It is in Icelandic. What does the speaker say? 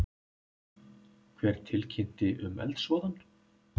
Hver tilkynnti um eldsvoðann?